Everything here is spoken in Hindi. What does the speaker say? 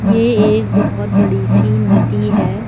ये एक बहुत बड़ी सी नदी है।